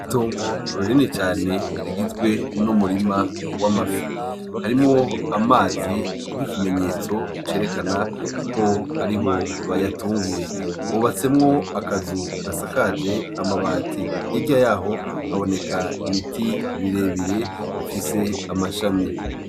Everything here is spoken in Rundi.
Itongo rinini cane rigizwe n'umurima w'amafi harimwo amazi nk'ikimenyetso cerekana ko ariho bayatungiye hubatsemwo akazu gasakaje amabati hirya yaho haboneka ibiti birebire bifise amashami .